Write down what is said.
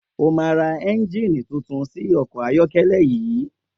O máa ra é̩ǹjìnì tuntun sí o̩kò̩ ayó̩ké̩lé̩ yìí!